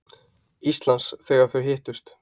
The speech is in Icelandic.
Íslands, þegar þau hittust.